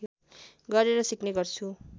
गरेर सिक्ने गर्छु